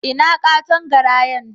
Ina katon garayan?